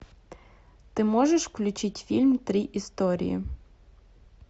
ты можешь включить фильм три истории